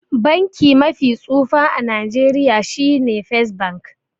Banki mafi tsufa a Nigeria shine first bank.